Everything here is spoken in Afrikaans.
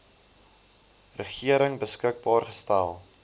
regering beskikbaar gestel